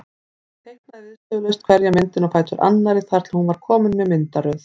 Hún teiknaði viðstöðulaust hverja myndina á fætur annarri þar til hún var komin með myndaröð.